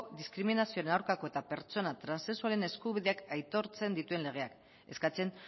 diskriminazioen aurkako eta pertsona transexualen eskubideak aitortzen dituen legeak eskatzen